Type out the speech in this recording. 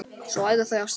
Svo æða þau af stað.